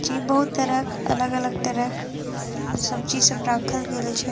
जी बहुत तरह के अलग-अलग तरह के सब्जी सब राखल गेल छै ।